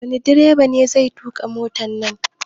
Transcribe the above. Wani direba ne zai tuƙa motan nan?